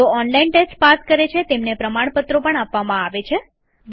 જેઓ online test pass કરે છે તેમને પ્રમાણપત્રો પણ આપીએ છીએ